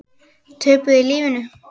Töpuðu lífinu.